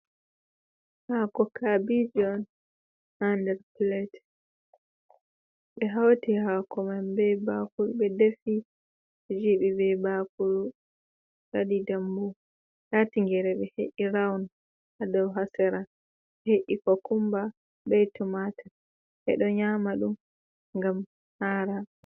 Hako kabije on ha nder pilet. Ɓe hauti hako man be bakuru, ɓe defi jiɓi be bakuru, ɓe waɗi dambu. Nda tingere ɓe he’i rawun ha dou, ha sera ɓe he’i kokumba be tumatur. Ɓe ɗo nyaama ɗum ngam hara.